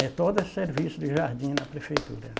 É, todo serviço de jardim na prefeitura, né?